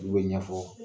Olu bɛ ɲɛfɔ